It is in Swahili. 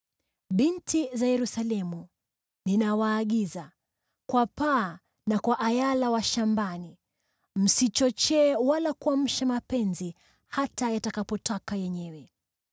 Binti za Yerusalemu, ninawaagiza kwa paa na kwa ayala wa shambani: Msichochee wala kuamsha mapenzi hata yatakapotaka yenyewe.